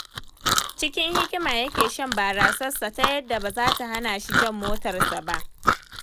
Cikin hikima yake shan barasarsa ta yadda ba za ta hana shi jan motarsa ba.